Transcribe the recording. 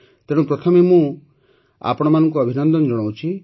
ତେଣୁ ପ୍ରଥମେ ମୁଁ ଆପଣମାନଙ୍କୁ ଅଭିନନ୍ଦନ ଜଣାଉଛି